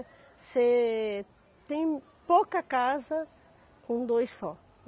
Você tem pouca casa com dois só.